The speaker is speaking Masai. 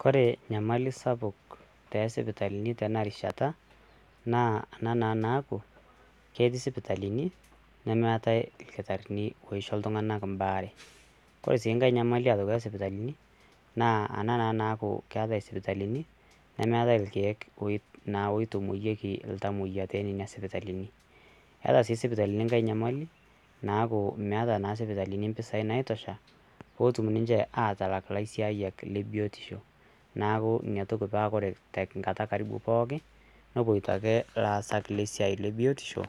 Kore enyamali sapuk tee sipitalini tena rishata naa ena naa naaku ketii sipitalani nemeatae irkitarini oisho ltunganak imbaare, kore sii inkae nyamalik aitoki oo sipitalini naa ana naa naaku keatae sipitalini nemeate irkiek oitomoyieki iltamoiya tee nenia sipitalini ,eata sii sipitalini inkae enyamali naaku meeta naa sipitalini mpesaii naitosha peetum ninche atalak laisaayal le biotisho ,naaku inaitoki paaa ore emkata karibu pooki nepoito ake laasak le siaai ebiotisho